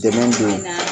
Dɛmɛ don